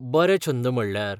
बरे छंद म्हणल्यार?